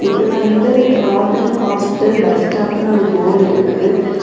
இது வந்து Robin hospital bus ஸ்டாண்ட்னு ஒரு போர்டு இருக்குது.